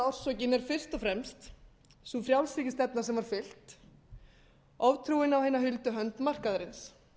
orsökin er fyrst og fremst sú frjálshyggjustefna sem var fylgt oftrúin á hina huldu hönd markaðarins